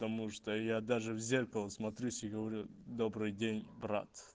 потому что я даже в зеркало смотрюсь и говорю добрый день брат